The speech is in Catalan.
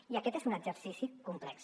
i aquest és un exercici complex